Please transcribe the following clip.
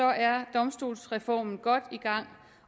er domstolsreformen godt i gang